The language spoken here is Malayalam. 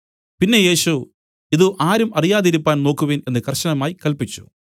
പിന്നെ യേശു ഇത് ആരും അറിയാതിരിക്കുവാൻ നോക്കുവിൻ എന്ന് കർശനമായി കല്പിച്ചു